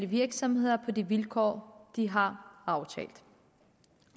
virksomheder på de vilkår de har aftalt